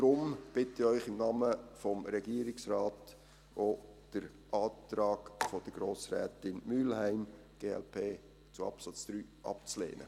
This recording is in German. Daher bitte ich Sie im Namen des Regierungsrates, auch den Antrag von Grossrätin Mühlheim, glp, zu Absatz 3 abzulehnen.